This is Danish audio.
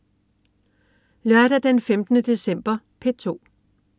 Lørdag den 15. december - P2: